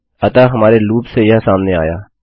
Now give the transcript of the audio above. अतः हमारे लूप से यह सामने आया